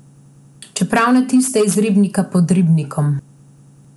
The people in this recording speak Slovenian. Čeprav ne tiste iz ribnika pod Ribnikom.